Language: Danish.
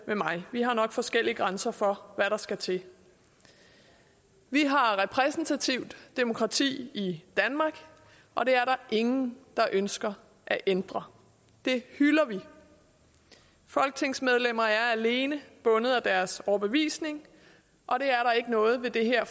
med mig vi har nok forskellige grænser for hvad der skal til vi har repræsentativt demokrati i danmark og det er der ingen der ønsker at ændre det hylder vi folketingsmedlemmer er alene bundet af deres overbevisning og det er der ikke noget ved det her